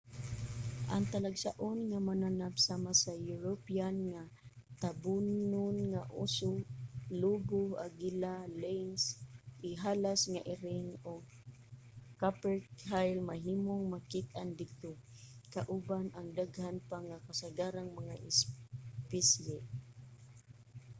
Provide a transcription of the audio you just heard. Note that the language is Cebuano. ang talagsaon nga mananap sama sa european nga tabonon nga uso lobo agila lynx ihalas nga iring ug capercaille mahimong makit-an didto kauban ang daghan pa nga kasagarang mga espisye